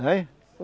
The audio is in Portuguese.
Hein?